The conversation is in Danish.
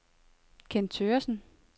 Kenn Thøgersen